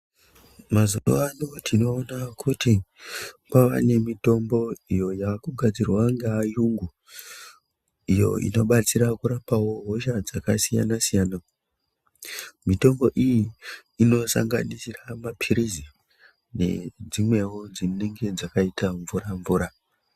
Mazuwano tinoona kuti kwavanemitombo iyo yakugadzirwa ngeayungu iyo inobatsira kurapawo hosha dzakasiyana siyana. Mitombo iyi inosanganisira mapilizi nedzimwewo dzinenge dzakaita mvura mvura.